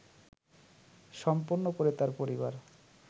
সম্পন্ন করে তার পরিবার